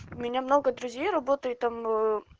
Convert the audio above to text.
у меня много друзей работает там ээ